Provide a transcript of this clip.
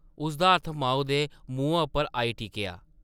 उसदा हत्थ माऊ दे मुहां उप्पर आई टिकेआ ।